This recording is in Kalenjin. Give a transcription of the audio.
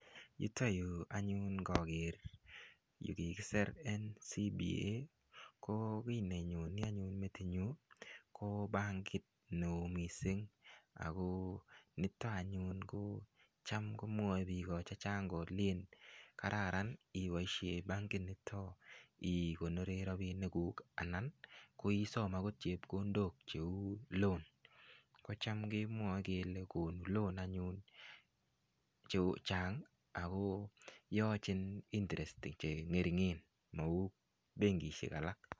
Yuto yu anyun ngager yu kigisir NCBA, ko kiy nenyoni anyun metinyu ko bankit neo mising. Nito anyun ko cham komwae biik chechang kolen kararan iboisie bankit nito igonore rapiniguk anan koisom agot chepkondok cheu loan. Kocham kemwae kele konu loan[sc] anyun chechang ago yochin interest che ngeringen, mau benkisiek alak.